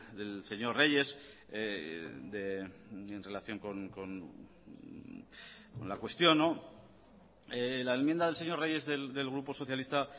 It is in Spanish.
del señor reyes en relación con la cuestión la enmienda del señor reyes del grupo socialista